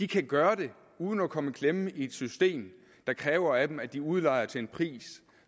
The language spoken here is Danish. kan gøre det uden at komme i klemme i et system der kræver af dem at de udlejer til en pris